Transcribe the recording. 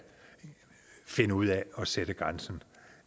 finde ud af at sætte grænsen